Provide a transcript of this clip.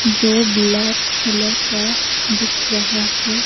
जो black colour का दिख रहा है।